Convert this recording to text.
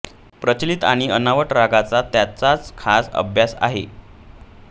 प्रचलित आणि अनवट रागांचा त्याचा खासा अभ्यास आहे